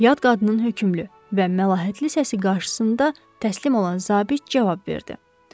Yad qadının hökmlü və məlahətli səsi qarşısında təslim olan zabit cavab verdi.